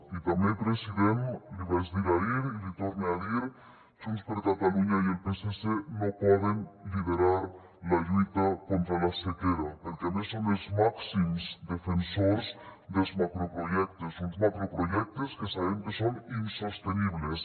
i també president l’hi vaig dir ahir i l’hi torne a dir junts per catalunya i el psc no poden liderar la lluita contra la sequera perquè a més són els màxims defensors dels macroprojectes uns macroprojectes que sabem que són insostenibles